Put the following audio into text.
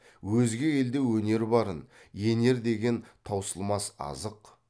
өзге елде өнер барын енер деген таусылмас азық